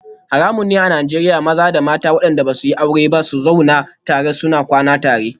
Haramun ne a Najeriya maza da mata wadanda ba su yi aure ba su zauna tare suna kwana tare